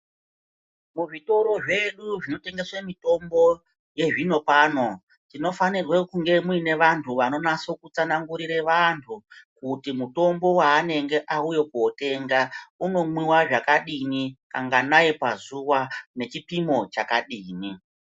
Kuzvitoro zvedu zvinotengesa mitombo yezvino pano tinofanirwe kunge kune antu anosa kutsanganangurira vantu kuti mutombo waanenge auya kunotenga kuti unomwa zvakadini kanganai pazuva nechipimo chakadini.